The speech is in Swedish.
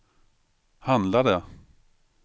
handlade